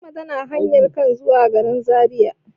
Fatima tana kan hanyan zuwa garin Zariya.